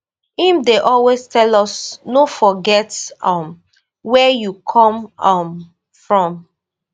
im dey always tell us no forget um wia you come um from